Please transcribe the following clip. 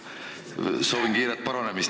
Soovin kiiret paranemist!